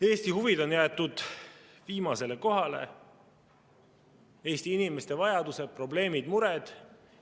Eesti huvid on jäetud viimasele kohale, Eesti inimeste vajadused, probleemid ja mured.